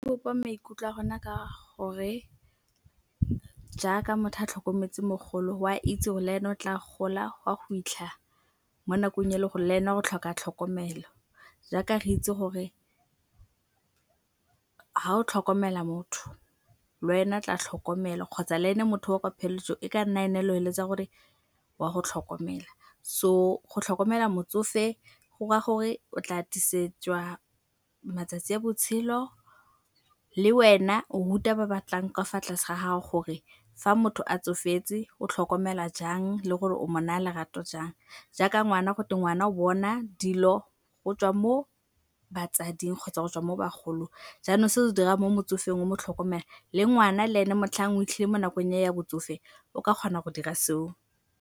Bopa maikutlo a rona ka gore jaaka motho a tlhokometse mogolo oa itse gore leena o tla gola go a go fitlha mo nakong e le gore leena o tlhoka tlhokomelo. Jaaka re itse gore ga o tlhokomela motho lwena 'tla tlhokomelwa kgotsa leene motho yoo kwa pheletsong e ka nna e ne o feletsa gore wa go tlhokomela. So go tlhokomela motsofe gora gore o tla atisetswa matsatsi a botshelo le wena o ruta ba batlang ka fa tlase ga gago gore fa motho a tsofetse o tlhokomelwa jang le gore o mo naya lerato jang. Jaaka ngwana gotwe ngwana o bona dilo go tswa mo batsading kgotsa go tswa mo bagolong, jaanong se o se dirang mo motsofeng o mo tlhokomela le ngwana leene motlhang o fitlhile mo nakong ya botsofe o ka kgona go dira se o.